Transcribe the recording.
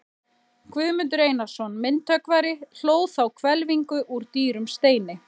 Guðmundur Einarsson myndhöggvari hlóð þá hvelfingu úr dýrum steini.